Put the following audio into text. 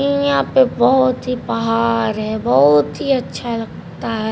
यहां पे बहुत ही पहाड़ है बहुत ही अच्छा लगता है।